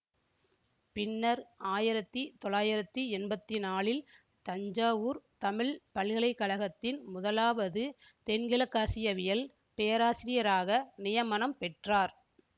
பின்னர் ஆயிரத்தி தொள்ளாயிரத்தி எம்பத்தி நாலில் தஞ்சாவூர் தமிழ் பல்கலை கழகத்தின் முதலாவது தென்கிழக்காசியவியல் பேராசிரியராக நியமனம் பெற்றார்